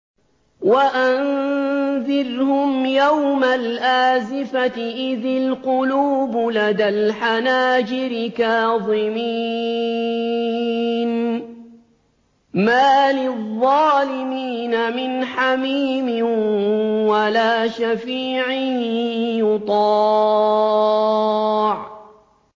وَأَنذِرْهُمْ يَوْمَ الْآزِفَةِ إِذِ الْقُلُوبُ لَدَى الْحَنَاجِرِ كَاظِمِينَ ۚ مَا لِلظَّالِمِينَ مِنْ حَمِيمٍ وَلَا شَفِيعٍ يُطَاعُ